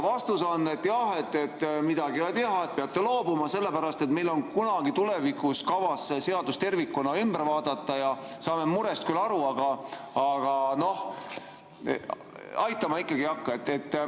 Vastus on olnud, et jah, midagi pole teha, peate loobuma, sest meil on kavas kunagi tulevikus see seadus tervikuna ümber vaadata, saame murest küll aru, aga aitama ikkagi ei hakka.